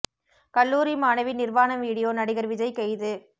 கல்லூரி மாணவி நிர்வாண வீடியோ நடிகர் விஜய் கைது